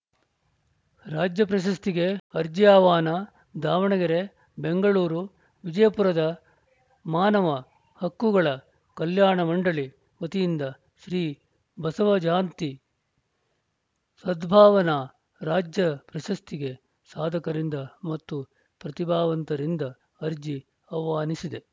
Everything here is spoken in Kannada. ರಾಜ್ಯ ಪ್ರಶಸ್ತಿಗೆ ಅರ್ಜಿ ಆಹ್ವಾನ ದಾವಣಗೆರೆ ಬೆಂಗಳೂರು ವಿಜಯಪುರದ ಮಾನವ ಹಕ್ಕುಗಳ ಕಲ್ಯಾಣ ಮಂಡಳಿ ವತಿಯಿಂದ ಶ್ರೀ ಬಸವ ಜಯಂತಿ ಸದ್ಭಾವನಾ ರಾಜ್ಯ ಪ್ರಶಸ್ತಿಗೆ ಸಾಧಕರಿಂದ ಮತ್ತು ಪ್ರತಿಭಾವಂತರಿಂದ ಅರ್ಜಿ ಆಹ್ವಾನಿಸಿದೆ